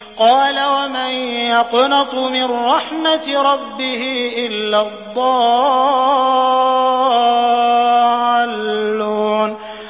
قَالَ وَمَن يَقْنَطُ مِن رَّحْمَةِ رَبِّهِ إِلَّا الضَّالُّونَ